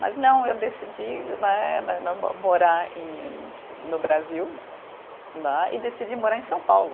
Mas não, eu decidi né, né mo morar e, no Brasil, né, e decidi morar em São Paulo.